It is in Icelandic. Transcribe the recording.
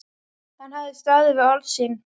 Hann hafði staðið við orð sín.